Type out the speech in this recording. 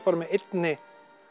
bara með einni